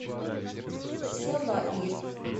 салаир